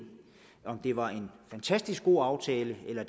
om det var en fantastisk god aftale eller